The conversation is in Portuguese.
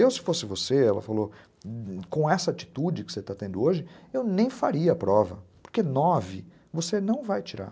Eu, se fosse você, ela falou, com essa atitude que você está tendo hoje, eu nem faria a prova, porque nove você não vai tirar.